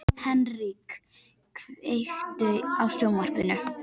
Henrik, kveiktu á sjónvarpinu.